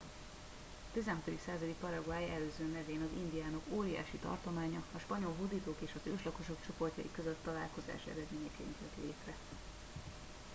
a 16. századi paraguay előző nevén az indiánok óriási tartománya a spanyol hódítók és az őslakosok csoportjai közötti találkozás eredményeként jött létre